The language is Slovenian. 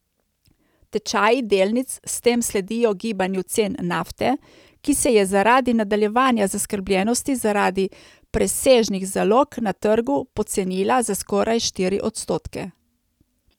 Tečaji delnic s tem sledijo gibanju cen nafte, ki se je zaradi nadaljevanja zaskrbljenosti zaradi presežnih zalog na trgu pocenila za skoraj štiri odstotke.